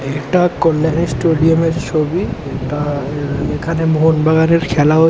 এটা কল্যাণী স্টুডিয়াম এর ছবি তার এখানে মোহনবাগানের খেলা হচ--